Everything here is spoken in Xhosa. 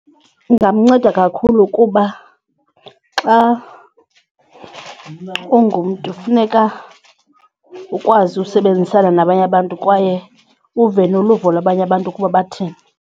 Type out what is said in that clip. Ingamnceda kakhulu kuba xa ungumntu funeka ukwazi usebenzisana nabanye abantu kwaye uve noluvo lwabanye abantu ukuba bathini.